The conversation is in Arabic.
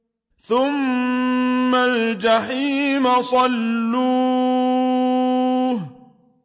ثُمَّ الْجَحِيمَ صَلُّوهُ